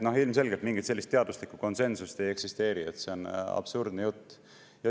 Noh, ilmselgelt mingit sellist teaduslikku konsensust ei eksisteeri, see on absurdne jutt.